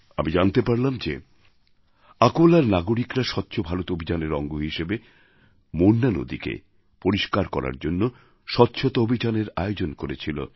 আমি জানতে পারলাম যে আকোলার নাগরিকরা স্বচ্ছ ভারত অভিযানের অঙ্গ হিসেবে মোরনা নদীকে পরিষ্কার করার জন্য স্বচ্ছতা অভিযানের আয়োজন করেছিল